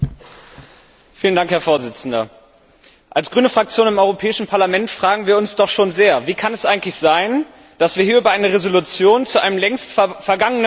Herr Präsident, als Grüne Fraktion im Europäischen Parlament fragen wir uns doch schon sehr Wie kann es eigentlich sein, dass wir hier über eine Entschließung zu einem längst vergangenen Programm entscheiden?